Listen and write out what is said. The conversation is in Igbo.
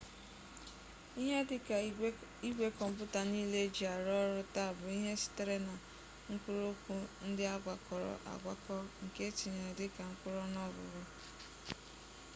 ihe dịka igwe kọmputa niile e ji arụ ọrụ taa bụ ihe sitere na mkpụrụokwu ndị a gwakọrọ agwakọ nke e tinyere dịka mkpụrụọnụọgụ